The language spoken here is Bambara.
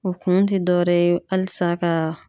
O kun ti dɔwɛrɛ ye, halisa ka